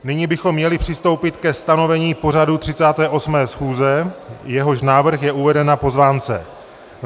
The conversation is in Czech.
Nyní bychom měli přistoupit ke stanovení pořadu 38. schůze, jehož návrh je uveden na pozvánce.